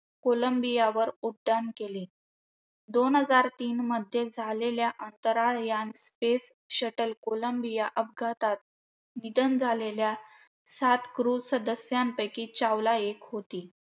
कोलंबियावर उड्डाण केले. दोन हजार तीनमध्ये झालेल्या अंतराळ यान space shuttle कोलंबिया अपघातात निधन झालेल्या सात crew सदस्यांपैकी चावला एक होती.